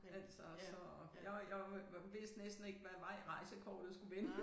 Altså så jeg var jeg var vidste næsten ikke hvad vej rejsekortet skulle vende